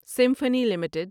symphony limited